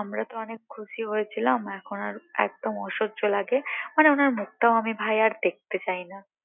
আমরা তো অনেক খুশি হয়েছিলাম এখন আর একদম অসহ্য লাগে মানে ওনার মুখ টাও ভাই আমি আর দেখতে চাই না